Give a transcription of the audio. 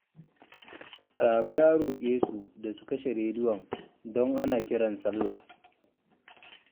Rabe ya roƙe su da su kashe rediyon don ana kiran sallah